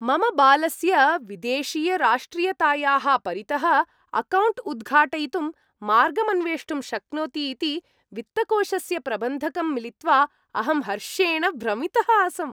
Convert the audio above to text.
मम बालस्य विदेशीयराष्ट्रीयतायाः परितः अकौण्ट् उद्घाटयितुं मार्गम् अन्वेष्टुं शक्नोति इति वित्तकोषस्य प्रबन्धकं मिलित्वा अहं हर्षेण भ्रमितः आसम्।